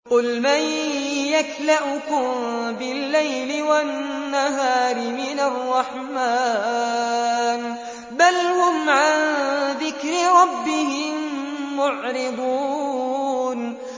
قُلْ مَن يَكْلَؤُكُم بِاللَّيْلِ وَالنَّهَارِ مِنَ الرَّحْمَٰنِ ۗ بَلْ هُمْ عَن ذِكْرِ رَبِّهِم مُّعْرِضُونَ